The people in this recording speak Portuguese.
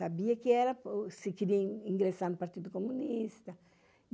Sabia que se queria ingressar no Partido Comunista.